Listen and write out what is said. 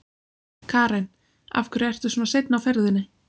Karen: Af hverju ertu svona seinn á ferðinni?